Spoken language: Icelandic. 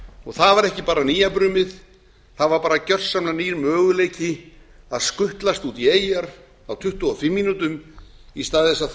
og það var ekki bara nýja brumið það var gersamlega nýr möguleiki að skutlast út í eyjar á tuttugu og fimm mínútum í stað